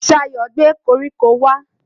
Ṣayọ̀ gbé koríko wá